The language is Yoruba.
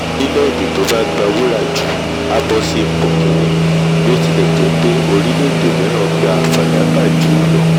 orílẹ̀èdè tó bá gba wúrà jù a bọ́ sí ipò kíní bí ó tilẹ̀ jẹ́ pé orílẹ̀èdè mìíràn gba fàdákà jù ú lọ